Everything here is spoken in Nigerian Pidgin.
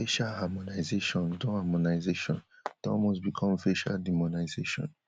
facial harmonisation don harmonisation don almost become facial demonisation